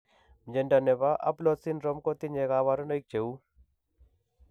Mnyondo nebo Aplort syndrome ko tinye kabarunaik cheuu